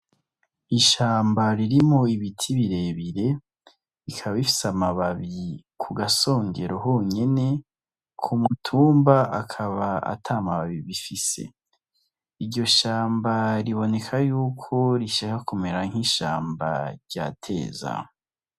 Ishamba ririmo ibiti birebire rikaba bifise amababi ku gasongero honyene ku mutumba akaba ata mababi bifise iryo shamba riboneka yuko rishaka kumera nk'ishamba rya teza.